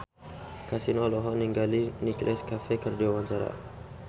Kasino olohok ningali Nicholas Cafe keur diwawancara